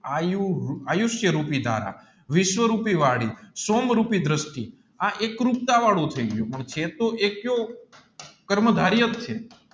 આયુષ રુપી ધારા વિશ્વ રૂપી વાળી શોમ રૂપી દૃષ્ટિ આ એક વાળું છે પણ ચેતો એતો કર્મ ધારિયાજ છે